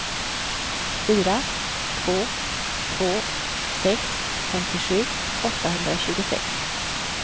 fyra två två sex femtiosju åttahundratjugosex